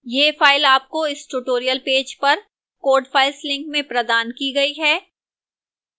यह file आपको इस tutorial पेज पर code files link में प्रदान की गई है